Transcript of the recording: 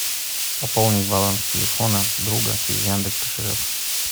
пополнить баланс телефона друга через яндекс кошелек